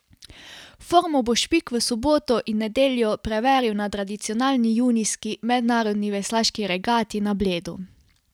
Formo bo Špik v soboto in nedeljo preveril na tradicionalni junijski mednarodni veslaški regati na Bledu.